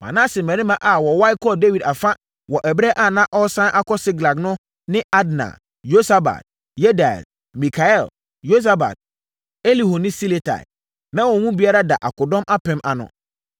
Manase mmarima a wɔwae kɔɔ Dawid afa wɔ ɛberɛ a na ɔresane akɔ Siklag no ne Adna, Yosabad, Yediael, Mikael, Yosabad, Elihu ne Siletai. Na wɔn mu biara da akodɔm apem ano.